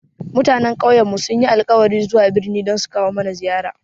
Mutanen ƙauyen sun yi alkawarin zuwa birni don sukawo mana ziyara